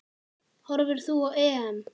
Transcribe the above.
Horfir þú á EM?